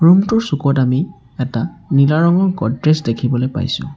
Room টোৰ চুকত আমি এটা নীলা ৰঙৰ গদ্ৰেজ দেখিবলৈ পাইছোঁ।